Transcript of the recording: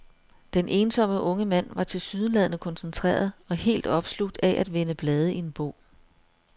Den ensomme unge mand var tilsyneladende koncentreret og helt opslugt af at vende blade i en bog.